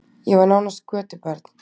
Ég var nánast götubarn.